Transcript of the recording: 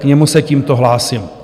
K němu se tímto hlásím.